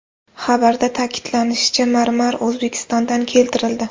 Xabarda ta’kidlanishicha, marmar O‘zbekistondan keltirildi.